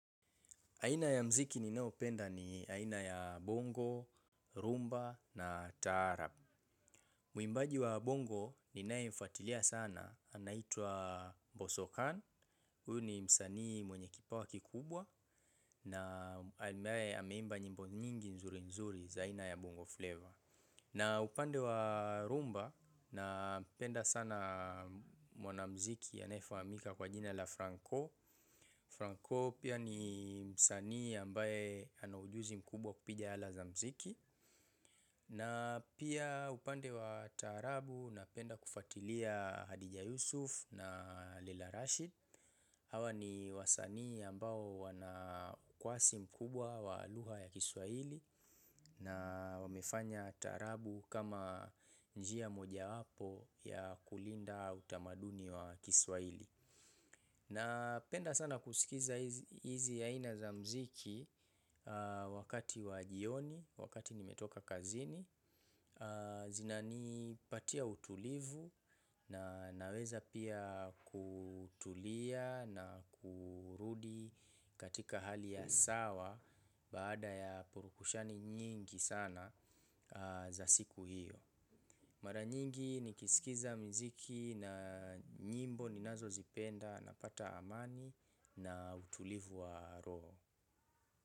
Aina ya muziki ni nao penda ni aina ya bongo, rhumba na taarab. Mwimbaji wa bongo ni naye mfuatilia sana. Anaitwa bosokhan. Huyu ni msani mwenye kipawa kikubwa. Na ambaye ameimba nyimbo nyingi nzuri nzuri za aina ya bongo flavor. Na upande wa rhumba napenda sana mwana muziki anaye fahamika kwa jina la franco. Franco pia ni msanii ambaye ana ujuzi mkubwa kupiga ala za muziki. Na pia upande wa taarabu napenda kufuatilia Hadija Yusuf na Lila Rashid. Hawa ni wasanii ambao wana kwasi mkubwa wa lugha ya kiswahili. Na wamefanya taraabu kama njia moja wapo ya kulinda utamaduni wa kiswahili. Napenda sana kusikiza hizi aina za muziki wakati wa jioni, wakati nimetoka kazini. Zina ni patia utulivu na naweza pia kutulia na kurudi katika hali ya sawa baada ya purukushani nyingi sana za siku hiyo. Mara nyingi nikisikiza muziki na nyimbo ninazo zipenda napata amani na utulivu wa roho.